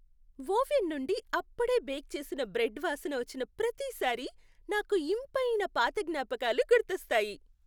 Oven నుండి అప్పుడే bake చేసిన బ్రెడ్ వాసన వచ్చిన ప్రతిసారీ నాకు ఇంపైన పాత జ్ఞాపకాలు గుర్తొస్తాయి.